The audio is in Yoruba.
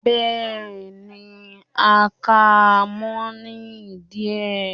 bẹẹni, a ka mo ní idí e